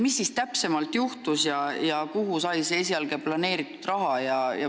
Mis siis täpsemalt juhtus ja kuhu sai see esialgne planeeritud raha?